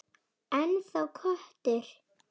Ennþá köttur.